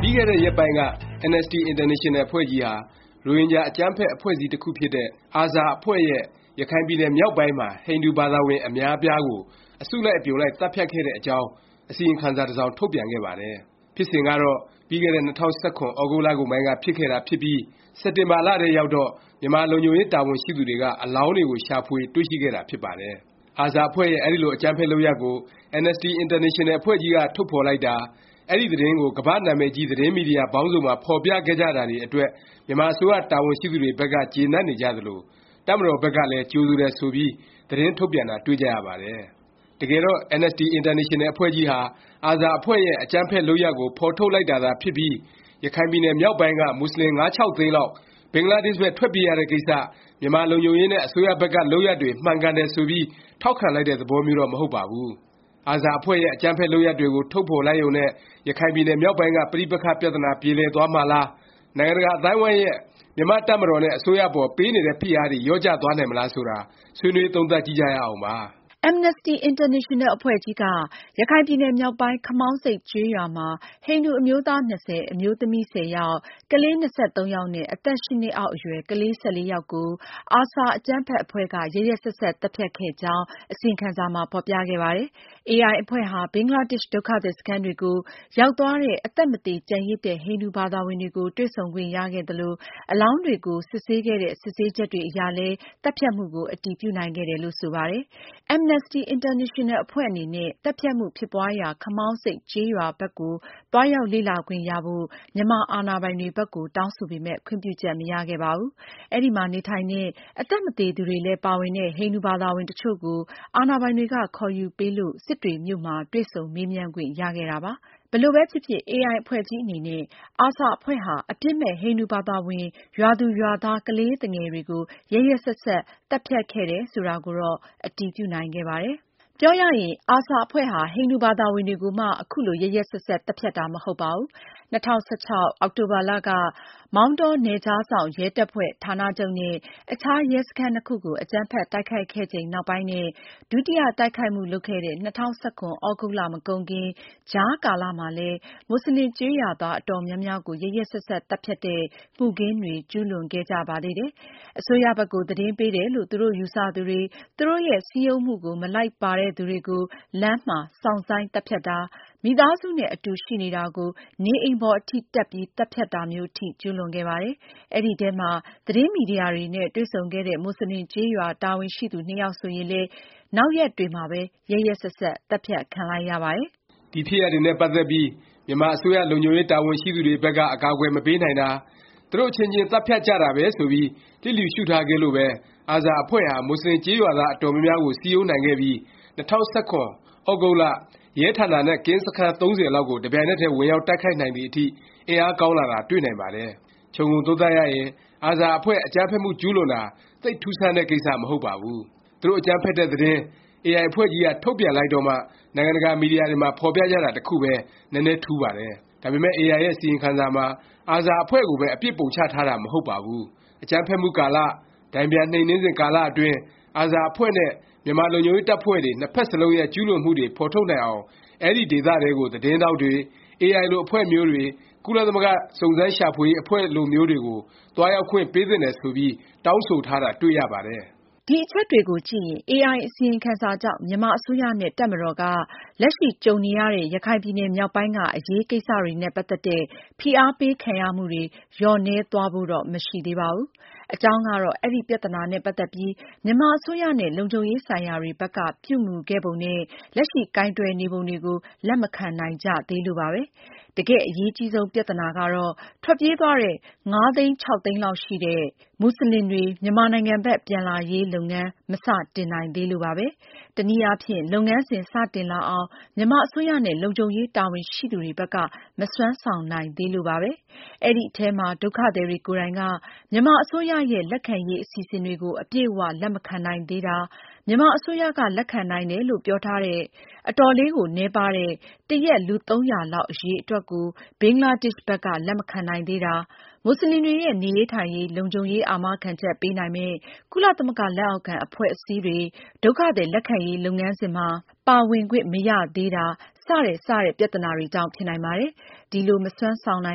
ပြီးခဲ့တဲ့ ရက်ပိုင်းက Amnesty International အဖွဲ့ကြီးဟာ ရိုဟင်ဂျာ အကြမ်းဖက် အဖွဲ့အစည်း တခုဖြစ်တဲ့ ARSA အဖွဲ့ရဲ့ ရခိုင်ပြည်နယ်မြောက်ပိုင်းမှာ ဟိန္ဒူဘာသာဝင် အများအပြားကို အစုလိုက် အပြုံလိုက် သတ်ဖြတ်ခဲ့တဲ့ အကြောင်း အစီရင်ခံစာ တ စောင် ထုတ်ပြန်ခဲ့ပါတယ်။ ဖြစ်စဉ်ကတော့ ပြီးခဲ့တဲ့ ၂၀၁၇ သြဂုတ်လကုန်ပိုင်းက ဖြစ်ပျက်ခဲ့တာဖြစ်ပြီး စက်တင်ဘာ လထဲရောက်တော့ မြန်မာလုံခြုံရေး တာဝန်ရှိသူတွေက အလောင်းတွေကို ရှာဖွေ တွေ့ရှိခဲ့တာ ဖြစ်ပါတယ်။ ARSA အဖွဲ့ရဲ့ အဲဒီလို အကြမ်းဖက် လုပ်ရပ်ကို Amnesty International အဖွဲ့ကြီးက ထုတ်ဖော်လိုက်တာ၊ အဲဒီသတင်းကို ကမ္ဘာ့ နာမည်ကြီး သတင်းမီဒီယာ ပေါင်းစုံမှာ ဖော်ပြခဲ့ကြတာတွေ အတွက် မြန်မာအစိုးရ တာဝန်ရှိသူတွေဘက်က ကျေနပ်နေကြသလို၊ တပ်မတော်ဘက်ကလည်း ကြိုဆိုတယ် ဆိုပြီး သတင်းထုတ်ပြန်တာ တွေ့ကြရပါတယ်။ တကယ်တော့ Amnesty International အဖွဲ့ကြီးဟာ ARSA အဖွဲ့ရဲ့ အကြမ်းဖက် လုပ်ရပ်ကို ဖော်ထုတ်လိုက်တာသာ ဖြစ်ပြီး ရခိုင်ပြည်နယ် မြောက်ပိုင်းက မူဆလင် ၅-၆ သိန်းလောက် ဘင်္ဂလားဒေ့ရှ်ဘက် ထွက်ပြေးရတဲ့ကိစ္စ မြန်မာလုံခြုံရေးနဲ့ အစိုးရဘက်က လုပ်ရပ်တွေ မှန်ကန်တယ် ဆိုပြီး ထောက်ခံလိုက်တဲ့ သဘောမျိုးတော့ မဟုတ်ပါဘူး။ ARSA အဖွဲ့ရဲ့ အကြမ်းဖက် လုပ်ရပ်တွေကို ထုတ်ဖော်လိုက်နိုင်ရုံနဲ့ ရခိုင်ပြည်နယ် မြောက်ပိုင်းက ပဋိပက္ခ ပြသနာ ပြေလည်သွားမှာလား၊ နိုင်ငံတကာအသိုင်းအဝိုင်းရဲ့ မြန်မာ့တပ်မတော်နဲ့ အစိုးရအပေါ် ပေးနေတဲ့ ဖိအားတွေ လျော့ကျသွားနိုင်မလား ဆိုတာ ဆွေးနွေး သုံးသပ်ကြည့်ကြရအောင်ပါ။ Amnesty International အဖွဲ့ကြီးက ရခိုင်ပြည်နယ်မြောက်ပိုင်း ခမောင်းဆိပ်ကျေးရွာမှာ ဟိန္ဒူ အမျိုးသား ၂၀ အမျိုးသမီး ၁၀ ယောက် ၊ ကလေး ၂၃ ယောက်နဲ့ အသက် ၈ နှစ်အောက်အရွယ် ကလေး ၁၄ ယောက်ကို ARSA အကြမ်းဖက်အဖွဲ့က ရက်ရက်စက်စက် သတ်ဖြတ်ခဲ့ကြောင်း အစီရင်ခံစာမှာ ဖော်ပြခဲ့ပါတယ်။ AIအဖွဲ့ဟာ ဘင်္ဂလားဒေ့ရှ် ဒုက္ခသည် စခန်းတွေကို ရောက်သွားတဲ့ အသက်မသေ ကျန်ရစ်တဲ့ ဟိန္ဒူဘာသာဝင်တွေကို တွေ့ဆုံခွင့်ရခဲ့သလို၊ အလောင်းတွေကို စစ်ဆေးခဲ့တဲ့ ဆေးစစ်ချက်တွေအရလည်း သတ်ဖြတ်မှုကို အတည်ပြုနိုင်ခဲ့တယ်လို့ ဆိုပါတယ်။ Amnesty International အဖွဲ့အနေနဲ့ သတ်ဖြတ်မှု ဖြစ်ပွားရာ ခမောင်းဆိပ် ကျေးရွာဘက်ကို သွားရောက်လေ့လာခွင့်ရဖို့ မြန်မာအာဏာပိုင်တွေ ဘက်ကို တောင်းဆိုပေမယ့် ခွင့်ပြုချက် မရခဲ့ပါဘူး။ အဲဒီမှာ နေထိုင်တဲ့၊ အသက်မသေသူတွေလည်း ပါဝင်တဲ့ ဟိန္ဒူဘာသာဝင် တချို့ကို အာဏာပိုင်တွေက ခေါ်ယူပေးလို့ စစ်တွေမြို့မှာ တွေ့ဆုံမေးမြန်းခွင့်ရခဲ့တာပါ။ ဘယ်လိုပဲဖြစ်ဖြစ် AI အဖွဲ့ကြီး အနေနဲ့ ARSA အဖွဲ့ဟာ အပြစ်မဲ့ ဟိန္ဒူဘာသာဝင် ရွာသူရွာသား ကလေးသူငယ်တွေကို ရက်ရက်စက်စက် သတ်ဖြတ်ခဲ့တယ်ဆိုတာကိုတော့ အတည်ပြုနိုင်ခဲ့ပါတယ်။ ပြောရရင် ARSA အဖွဲ့ဟာ ဟိန္ဒူ ဘာသာဝင်တွေကိုမှ ခုလို ရက်ရက်စက်စက် သတ်ဖြတ်တာ မဟုတ်ပါဘူး။ ၂၀၁၆ အောက်တိုဘာ မောင်တောက နယ်ခြားစောင့် ရဲတပ်ဖွဲ့ ဌာနချုပ်နဲ့ အခြားရဲစခန်း နှစ်ခုကို အကြမ်းဖက် တိုက်ခိုက်ခဲ့ချိန်နောက်ပိုင်းနဲ့ ဒုတိယ တိုက်ခိုက်မှု လုပ်ခဲ့တဲ့ ၂၀၁၇ သြဂုတ်လ မကုန်ခင် ကြားကာလမှာလည်း မူဆလင်ကျေးရွာသား အတော်များများကို ရက်ရက်စက်စက် သတ်ဖြတ်တဲ့ မှုခင်းတွေ ကျူးလွန်ခဲ့ကြပါသေးတယ်။ အစိုးရဘက်ကို သတင်းပေးတယ်လို့ သူတို့ယူဆ သူတွေ၊ သူတို့ရဲ့ စည်းရုံးမှုကို မလိုက်ပါတဲ့သူတွေကို လမ်းမှာ စောင့်ဆိုင်း သတ်ဖြတ်တာ၊ မိသားစုနဲ့ အတူ ရှိနေတာကို နေအိမ်ပေါ် အထိ တက်ပြီး သတ်ဖြတ်တာမျိုး အထိ ကျူးလွန်ခဲ့ပါတယ်။ အဲဒီထဲမှာ သတင်းမီဒီယာတွေနဲ့ တွေ့ဆုံခဲ့တဲ့ မူဆလင် ကျေးရွာတာဝန်ရှိသူ နှစ်ယောက် ဆိုရင်လည်း နောက်ရက်တွေမှာပဲ ရက်ရက်စက်စက် သတ်ဖြတ်ခံလိုက်ရပါတယ်။ ဒီဖြစ်ရပ်တွေနဲ့ ပတ်သက်ပြီး မြန်မာအစိုးရ လုံခြုံရေး တာဝန်ရှိသူတွေဘက်က အကာအကွယ် မပေးနိုင်တာ၊ သူတို့ အချင်းချင်း သတ်ဖြတ်ကြတာပဲ ဆိုပြီး လျစ်လျူရှုထားခဲ့လို့ပဲ ARSA အဖွဲ့ဟာ မူဆလင် ကျေးရွာသား အတော်များများကို စည်းရုံးနိုင်ခဲ့ပြီး ၂၀၁၇ သြဂုတ်လ ရဲဌာနာနဲ့ ကင်းစခန်း ၃၀ လောက်ကို တစ်ပြိုင်နက်တည်း ဝင်ရောက် တိုက်ခိုက်နိုင်သည် အထိ အင်အားကောင်းလာတာ တွေ့နိုင်ပါတယ်။ ခြုံငုံသုံးသပ်ရရင် ARSA အဖွဲ့ အကြမ်းဖက်မှု ကျူးလွန်တာ သိပ် ထူးဆန်းတဲ့ကိစ္စ မဟုတ်ပါဘူး။ သူတို့ အကြမ်းဖက်တဲ့သတင်း AI အဖွဲ့ကြီးက ထုတ်ပြန်လိုက်တော့မှ နိုင်ငံတကာ မီဒီယာတွေမှာ ဖော်ပြကြတာ တစ်ခုပဲ နည်းနည်း ထူးပါတယ်။ ဒါပေမယ့် AI ရဲ့ အစီရင်ခံစာမှာ ARSA အဖွဲ့ကိုပဲ အပြစ်ပုံချထားတာ မဟုတ်ပါဘူး။ အကြမ်းဖက်မှု ကာလ၊ တန်ပြန်နှိမ်နင်းစဉ် ကာလအတွင်း ARSA အဖွဲ့နဲ့ မြန်မာ လုံခြုံရေးတပ်ဖွဲ့တွေ၊ နှစ်ဖက်စလုံးရဲ့ ကျူးလွန်မှုတွေ ဖော်ထုတ်နိုင်အောင် အဲဒီ ဒေသထဲကို သတင်းထောက်တွေ၊ AI လို အဖွဲ့မျိုးတွေ၊ ကုလသမဂ္ဂ စုံစမ်းရှာဖွေရေး အဖွဲ့လိုမျိုးတွေကို သွားရောက်ခွင့်ပေးသင့်တယ် ဆိုပြီး တောင်းဆိုထားတာ တွေ့ရပါတယ်။ ဒီအချက်တွေကိုကြည့်ရင် AI အစီရင်ခံစာကြောင့် မြန်မာအစိုးရနဲ့ တပ်မတော်က လက်ရှိ ကြုံနေရတဲ့ ရခိုင်ပြည်နယ် မြောက်ပိုင်းက အရေးကိစ္စတွေနဲ့ ပတ်သက်တဲ့ ဖိအားပေးခံရမှုတွေ လျော့နည်းသွားဖို့ တော့ မရှိသေးပါဘူး။ အကြောင်းကတော့ အဲဒီ ပြသနာနဲ့ ပတ်သက်ပြီး မြန်မာအစိုးရနဲ့ လုံခြုံရေးဆိုင်ရာတွေဘက်က ပြုမူခဲ့ပုံနဲ့ လက်ရှိ ကိုင်တွယ်နေပုံတွေကို လက်မခံနိုင်ကြသေးလို့ပါပဲ။ တကယ့်အရေးကြီးဆုံး ပြသနာကတော့ ထွက်ပြေးသွားတဲ့ ၅-၆ သိန်းလောက်ရှိတဲ့ မူဆလင်တွေ မြန်မာနိုင်ငံဘက် ပြန်လာရေးလုပ်ငန်း မစတင်နိုင်သေးလို့ပါပဲ။ တနည်းအားဖြင့် လုပ်ငန်းစဉ် စတင်လာအောင် မြန်မာအစိုးရနဲ့ လုံခြုံရေး တာဝန်ရှိသူတွေဘက်က မစွမ်းဆောင်နိုင်သေးလို့ပါပဲ။ အဲဒီအထဲမှာ ဒုက္ခသည်တွေ ကိုယ်တိုင်က မြန်မာအစိုးရရဲ့ လက်ခံရေး အစီအစဉ်တွေကို အပြည့်အ၀ လက်မခံနိုင်သေးတာ၊ မြန်မာအစိုးရက လက်ခံနိုင်တယ်လို့ ပြောထားတဲ့ အတော်လေးကို နည်းပါးတဲ့ တရက် လူ ၃၀၀ လောက် အရည်အတွက်ကို ဘင်္ဂလားဒေ့ရှ် ဘက်က လက်မခံနိုင်သေးတာ၊ မူဆလင်တွေရဲ့ နေရေးထိုင်ရေး လုံခြုံရေး အာမခံချက် ပေးနိုင်မယ့် ကုလသမဂ္ဂ လက်အောက်ခံ အဖွဲ့အစည်းတွေ ဒုက္ခသည် လက်ခံရေး လုပ်ငန်းစဉ်မှာ ပါဝင်ခွင့် မရသေးတာ စတဲ့ စတဲ့ ပြသနာတွေကြောင့် ဖြစ်နိုင်ပါတယ်။ ဒီလို မစွမ်းဆောင်နို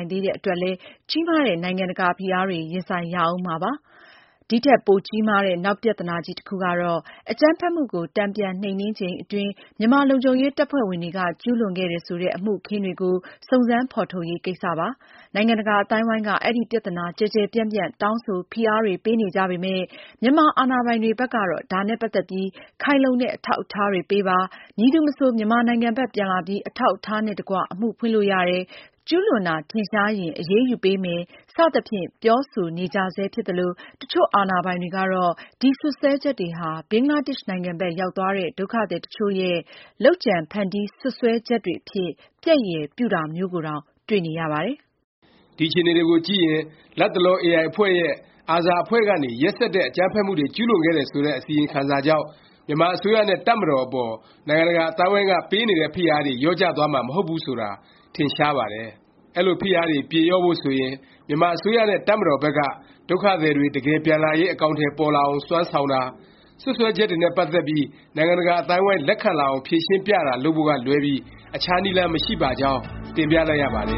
င်သေးတဲ့ အတွက်လည်း ကြီးမားတဲ့ နိုင်ငံတကာ ဖိအားတွေ ရင်ဆိုင်ရဦးမှာပဲ ဖြစ်ပါတယ်။ ဒီထက် ပိုကြီးမားတဲ့ နောက်ပြသနာကြီး တစ်ခုကတော့ အကြမ်းဖက်မှုကို တန်ပြန် နှိမ်နင်းချိန် အတွင်း မြန်မာလုံခြုံရေး တပ်ဖွဲ့ဝင်တွေက ကျူးလွန်ခဲ့တယ် ဆိုတဲ့ အမှုအခင်းတွေကို စုံစမ်းဖော်ထုတ်ရေး ကိစ္စပါ။ နိုင်ငံတကာ အသိုင်းအဝိုင်းက အဲဒီ ပြသနာ ကျယ်ကျယ်ပြန့်ပြန့် တောင်းဆို ဖိအားတွေ ပေးနေကြပေမယ့် မြန်မာ အာဏာပိုင်တွေ ဘက်ကတော့ ဒါနဲ့ ပတ်သက်ပြီး ခိုင်လုံတဲ့ အထောက်အထားတွေ ပေးပါ၊ မည်သူမဆို မြန်မာနိုင်ငံဘက် ပြန်လာပြီး အထောက်အထားနဲ့တကွ အမှုဖွင့်လို့ရတယ်၊ ကျူးလွန်တာ ထင်ရှားရင် အရေးယူပေးမယ် စသဖြင့် ပြောဆိုနေကြဆဲ ဖြစ်သလို၊ တချို့ အာဏာပိုင်တွေကတော့ ဒီစွတ်စွဲချက်တွေဟာ ဘင်္ဂလားဒေ့ရှ်နိုင်ငံဘက် ရောက်သွားတဲ့ ဒုက္ခသည် တချို့ရဲ့ လုပ်ကြံဖန်တီး စွပ်စွဲချက်တွေအဖြစ် ပျက်ရယ်ပြုတာမျိုးကိုတောင် တွေ့နေရပါတယ်။ ဒီအခြေအနေတွေကို ကြည့်ရင် လတ်တလော AI အဖွဲ့ရဲ့ ARSA အဖွဲ့ကနေ ရက်စက်တဲ့ အကြမ်းဖက်မှုတွေ ကျူးလွန်ခဲ့တယ် ဆိုတဲ့ အစီရင်ခံစာကြောင့် မြန်မာအစိုးရနဲ့ တပ်မတော်အပေါ် နိုင်ငံတကာ အသိုင်းအဝိုင်းက ပေးနေတဲ့ ဖိအားတွေ လျော့ကျသွားမှာ မဟုတ်ဘူး ဆိုတာ ထင်ရှားပါတယ်။ အဲလို ဖိအားတွေ ပြေလျော့ဖို့ ဆိုရင် မြန်မာအစိုးရနဲ့ တပ်မတော်ဘက်က ဒုက္ခသည်တွေ တကယ်ပြန်ဝင်လာရေး အကောင်အထည် ပေါ်လာအောင် စွမ်းဆောင်တာ၊ စွပ်စွဲချက်တွေနဲ့ ပတ်သက်ပြီး နိုင်ငံတကာ အသိုင်းအဝိုင်း လက်ခံလာအောင် ဖြေရှင်းပြတာ လုပ်ဖို့ကလွဲပြီး အခြားနည်းလမ်း မရှိပါကြောင်း တင်ပြလိုက်ရပါတယ